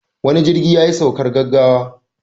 Wani jirgi yayi saukar gaggawa.